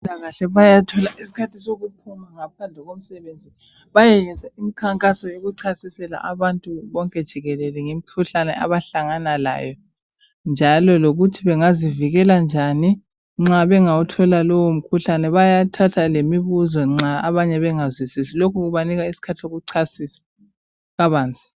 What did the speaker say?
Abezempilakahle bayathola isikhathi sokuphuma ngaphandle komsebenzi bayeyenza imikankaso yokuchasisela abantu bonke jikelele imikhuhlane abahlangana layo njalo lokuthi bengazivikela njani nxa bengawuthola lowo mkhuhlane. Bayathatha lemibuzo nxa abanye bengazwisisi. Lokhu kubanika isikhathi sokuchasisa kabanzi.